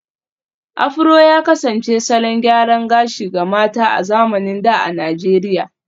Afro ya kasance salon gyaran gashi ga mata a zamanin da a Najeriya